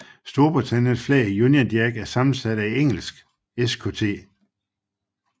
Storbritanniens flag Union Jack er sammensat af Englands Skt